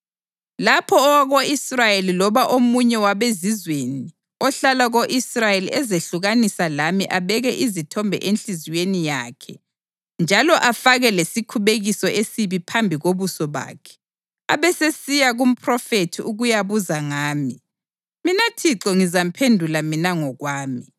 Lapho owako-Israyeli loba omunye wabezizweni ohlala ko-Israyeli ezehlukanisa lami abeke izithombe enhliziyweni yakhe njalo afake lesikhubekiso esibi phambi kobuso bakhe, abesesiya kumphrofethi ukuyabuza ngami, mina Thixo ngizamphendula mina ngokwami.